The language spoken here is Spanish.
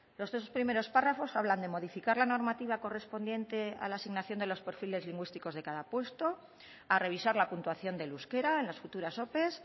los primeros párrafos hablan de modificar la normativa correspondiente a la asignación de los perfiles lingüísticos de cada puesto a revisar la puntuación del euskera en las futuras ope